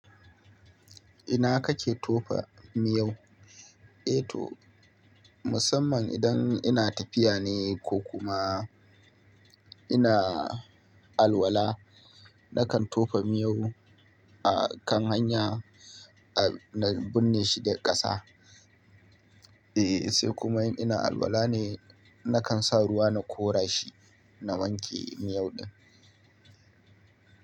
Ina kake tofa miyau? Eh to, musamman idan ina tafiya ne ko kuma ina alwala, nakan tofa miyau akan hanya na binne shi da ƙasa. Eh sai kuma in ina alwala ne nakan sa ruwa na kora shi na wanke miyau ɗin.